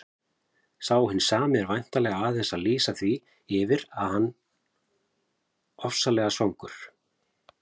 Sá hinn sami er væntanlega aðeins að lýsa því yfir að hann ofsalega svangur.